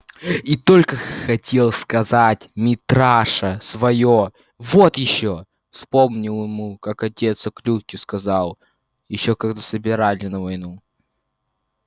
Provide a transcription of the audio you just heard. и только хотел сказать митраша своё вот ещё вспомнилось ему как отец о клюкве сказал ещё когда собирали его на войну